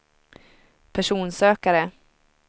personsökare